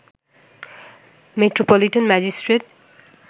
metropolitan magistrate